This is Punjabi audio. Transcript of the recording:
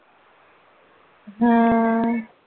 ਹਮ